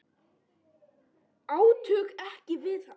Átök áttu ekki við hann.